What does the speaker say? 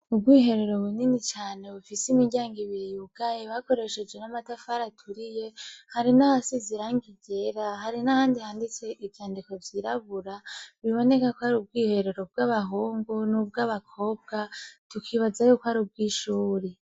Ubwiherero bunini cane bufise imiryango ibiri yugaye , bakoresheje n'amatafari aturiye, hari nahasize irangi ryera, hari nahandi handitse ivyandiko vyirabura bibonekako arubwiherero bw'abahungu n'ubwabakobwa tukibazako arubwishuri.